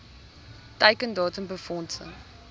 teiken datum befondsing